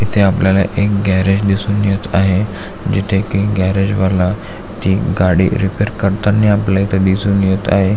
इथे आपल्याला एक गॅरेज दिसून येत आहे जिथे की गॅरेजवाला ति गाडी रिपेअर करतानी आपल्याला इथून दिसात आहे.